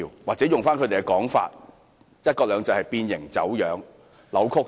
以他們的用語來說，"一國兩制"已變形走樣。